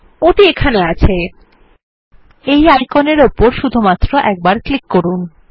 ওটি এখানে আছে এই আইকনের উপর শুধুমাত্র একবার ক্লিক করুন